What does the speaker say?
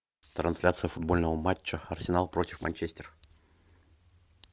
трансляция футбольного матча арсенал против манчестер